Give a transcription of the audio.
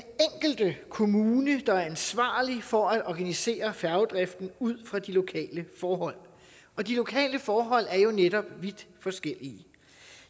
enkelte kommune der er ansvarlig for at organisere færgedriften ud fra de lokale forhold og de lokale forhold er jo netop vidt forskellige